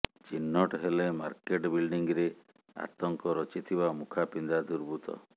ଚିହ୍ନଟ ହେଲେ ମାର୍କେଟ ବିଲ୍ଡିଂରେ ଆତଙ୍କ ରଚିଥିବା ମୁଖାପିନ୍ଧା ଦୁର୍ବୃତ୍ତ